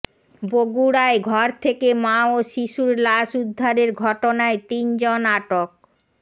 বগুড়ায় ঘর থেকে মা ও শিশুর লাশ উদ্ধারের ঘটনায় তিন জন আটক